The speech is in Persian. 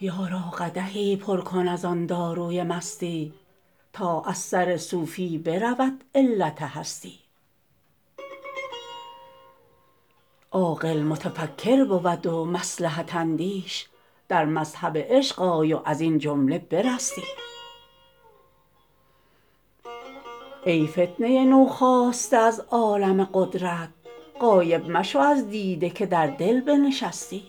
یارا قدحی پر کن از آن داروی مستی تا از سر صوفی برود علت هستی عاقل متفکر بود و مصلحت اندیش در مذهب عشق آی و از این جمله برستی ای فتنه نوخاسته از عالم قدرت غایب مشو از دیده که در دل بنشستی